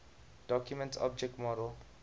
document object model